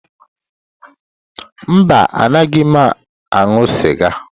Mba, anaghị m aṅụ sịga.